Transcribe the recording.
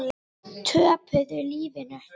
Töpuðu lífinu.